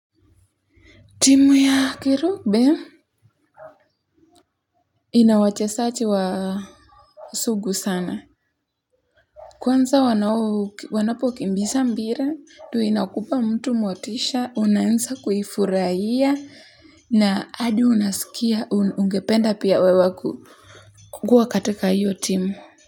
Timu ya kirugby ina wachezaji wa sugu sana. Kwanza wanapokimbiza mpira, ndio inakupa mtu motisha, unaanza kuifurahia, na hadi unasikia, ungependa pia wewe kua katika hiyo timu.